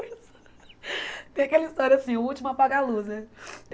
Tem aquela história assim, o último apaga a luz, né?